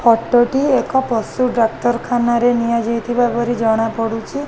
Photo ଟି ଏକ ପଶୁ ଡାକ୍ତର ଖାନାରେ ନିଆଯାଇଥିବା ପରି ଜଣାପଡ଼ୁଛି।